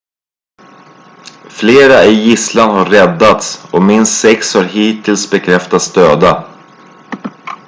flera i gisslan har räddats och minst sex har hittills bekräftats döda